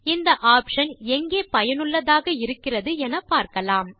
இந்த ஆப்ஷன் எங்கே பயனுள்ளதாக இருக்கிறது என பார்க்கலாம்